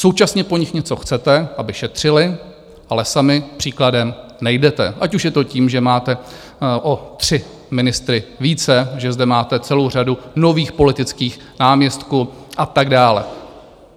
Současně po nich něco chcete - aby šetřili, ale sami příkladem nejdete, ať už je to tím, že máte o tři ministry více, že zde máte celou řadu nových politických náměstků a tak dále.